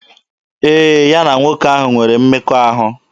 Ee, ya na nwoke ahụ nwere mmekọahụ.